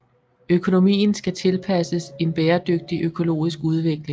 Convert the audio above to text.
Økonomien skal tilpasses en bæredygtig økologisk udvikling